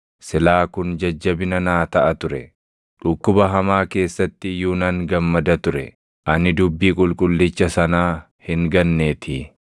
Silaa kun jajjabina naa taʼa ture; dhukkuba hamaa keessatti iyyuu nan gammada ture; ani dubbii Qulqullicha sanaa hin ganneetii.